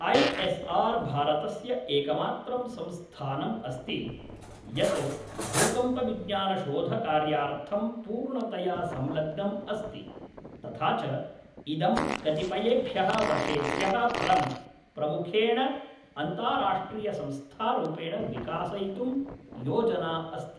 I S R भारतस्य एकमात्रं संस्थानम् अस्ति यत् भूकम्पविज्ञानशोधकार्यार्थं पूर्णतया संलग्नम् अस्ति तथा च इदं कतिपयेभ्यः वर्षेभ्यः परं प्रमुखेण अन्ताराष्ट्रियसंस्थारूपेण विकासयितुं योजना अस्ति।